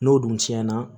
N'o dun tiɲɛna